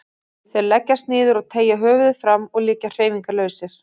Þeir leggjast niður og teygja höfuðið fram og liggja hreyfingarlausir.